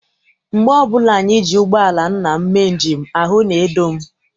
Mgbe ọbụla anyị ji ụgbọala nna m mee njem, ahụ na-edo m.